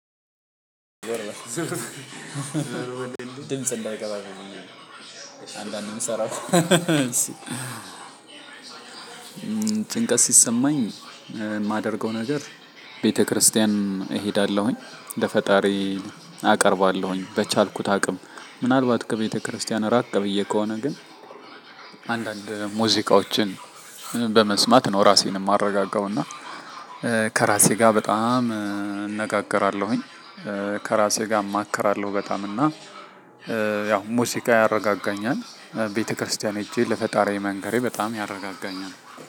ድምጽ እንዳይገባ አንዳንድ የምሰራው እሺ ጭንቀት ሲሰማኝ የማደርገው ነገር። ቤተክርስቲያን እሄዳለሁኝ ለፈጣሪ አቀርባለሁኝ በቻልኩት አቅም ምናልባት ከቤተክርስቲያን ራቅ ብዬ ከሆነ ግን። አንዳንድ ሙዚቃዎችን በመስማት ነው ራሴን የማረጋጋው። እና ከራሴ ጋር በጣም እነጋገራለሁኝ ከራሴ ጋር እማክራለሁ። በጣም እና ያው ሙዚቃ ያረጋጋኛል። ቤተክርስቲያን ሄጄ ለፈጣሪያዬ መንገሬ በጣም ያረጋጋኛል።